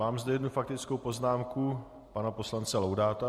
Mám zde jednu faktickou poznámku pana poslance Laudáta.